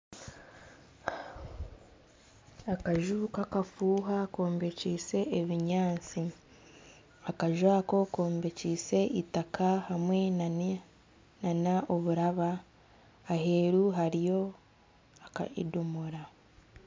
Akaju kakafuha kombekiise ebinyaatsi akaju aka kombekiise eitaka hamwe nana oburaba aheeru hariyo edomora